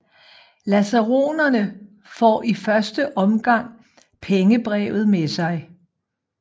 Lasaronene får i første omgang pengebrevet med sig